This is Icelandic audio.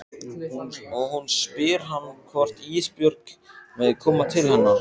Og hún spyr hann hvort Ísbjörg megi koma til hennar.